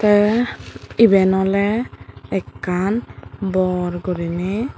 te iben oley ekkan bor guriney.